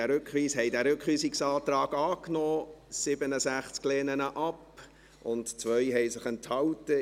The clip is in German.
78 haben diesen Rückweisungsantrag angenommen, 67 lehnen ihn ab und 2 haben sich enthalten.